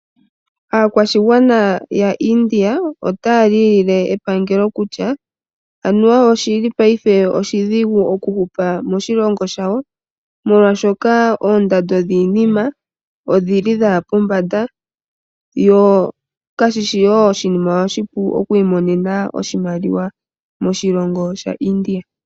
Aakwashigwana ya India otaya lilile epangelo kutya anuwa oshili paife oshidhigu okuhupa moshilongo shawo molwaashoka oondando dhiinima odhaya pombanda, sho kashishi oshinima oshipu okwiimonena iimaliwa moshilongo shaIndia.